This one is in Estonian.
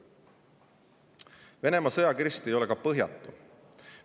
Venemaa sõjakirst ei ole ka põhjatu.